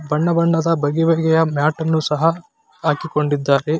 ಬಣ್ಣ ಬಣ್ಣದ ಬಗೆ ಬಗೆಯ ಮ್ಯಾಟ್ ಅನ್ನು ಸಹ ಹಾಕಿಕೊಂಡಿದ್ದಾರೆ .